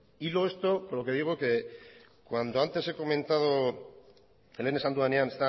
hilo esto con lo que digo que cuando lehen esan dudanean